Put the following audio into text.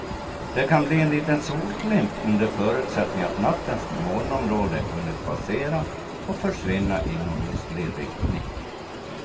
Det kan bli en liten solglimt under förutsättning att nattens molnområde hunnit passera och försvinna i nordostlig riktning.